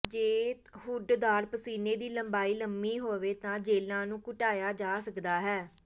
ਜੇ ਹੁੱਡਦਾਰ ਪਸੀਨੇ ਦੀ ਲੰਬਾਈ ਲੰਮੀ ਹੋਵੇ ਤਾਂ ਜੇਲਾਂ ਨੂੰ ਘੁਟਾਇਆ ਜਾ ਸਕਦਾ ਹੈ